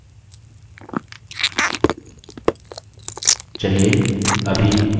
चलिए अभी new user बनाना सीखते हैं